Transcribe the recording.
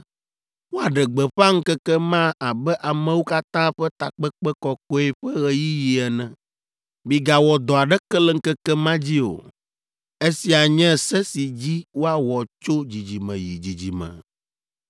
Woaɖe gbeƒã ŋkeke ma abe amewo katã ƒe takpekpe kɔkɔe ƒe ɣeyiɣi ene. Migawɔ dɔ aɖeke le ŋkeke ma dzi o. Esia nye se si dzi woawɔ tso dzidzime yi dzidzime.